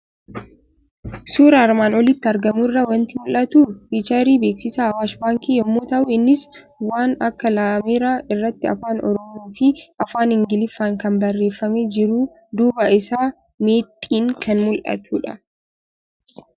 Suuraa armaan olitti argamu irraa waanti mul'atu; fiicharii beeksisaa Awaash Baankii yommuu ta'u, innis waan akka laameera irratti afaan oromoofi afaan ingiliffaan kan barreeffamee jirufi duuba isaatti meexxiin kan mul'atudha.